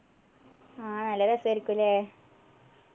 ആഹ് നല്ല രസായിരിക്കും അല്ലെ